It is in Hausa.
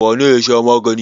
Wane ne ya sha magani?